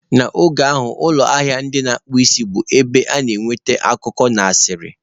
N'oge ahụ, ụlọ ahịa ndị na-akpụ isi bụ ebe a na-enweta akụkọ na asịrị